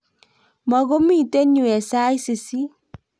mukumito yue eng' sait sisit